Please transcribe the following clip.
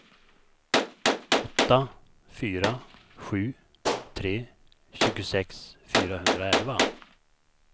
åtta fyra sju tre tjugosex fyrahundraelva